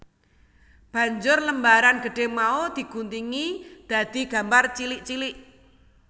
Banjur lembaran gedhé mau di guntingi dadi gambar cilik cilik